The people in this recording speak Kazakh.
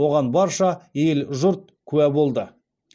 оған барша ел жұрт куә болды